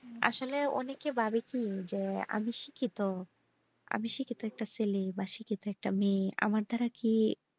আসলে অনেকে ভাবে কি আমি শিক্ষিত আমি শিক্ষিত ছেলে বা শিক্ষিত একটা মেয়ে আমার দ্বারা কি?